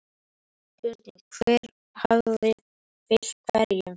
Spurning hver hafi fylgt hverjum??